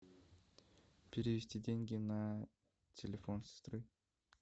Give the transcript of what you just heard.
перевести деньги на телефон сестры